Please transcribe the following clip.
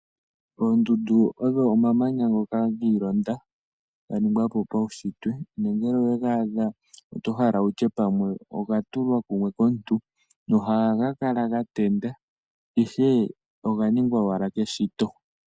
Oondundu odho omamanya ngoka gi ilonda, ga ningwa po paunshitwe, nongele owe ga adha, oto hala wu tye pamwe oga tulwa kumwe komuntu, nohaga kala ga tenda, ihe oga ningwa owala keshito.